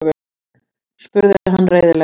spurði hann reiðilega.